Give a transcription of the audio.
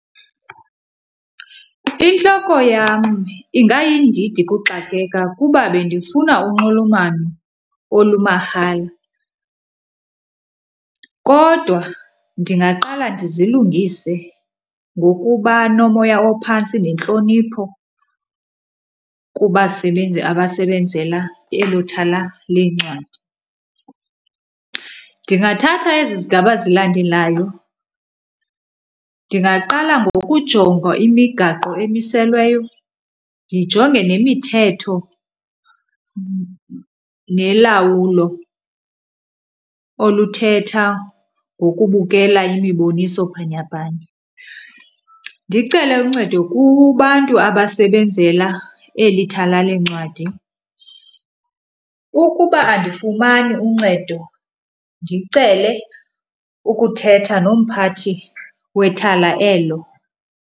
Intloko yam ingayindidi kuxakeka kuba bendifuna unxulumano olumahala, kodwa ndingaqala ndizilungise ngokuba nomoya ophantsi nentlonipho kubasebenzi abasebenzela elo thala leencwadi. Ndingathatha ezi zigaba zilandelayo, ndingaqala ngokujonga imigaqo emiselweyo, ndijonge nemithetho nolawulo oluthetha ngokubukela imiboniso bhanyabhanya. ndicele uncedo kubantu abasebenzela eli thala leencwadi. Ukuba andifumani uncedo ndicele ukuthetha nomphathi wethala elo.